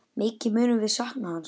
Mikið munum við sakna hans.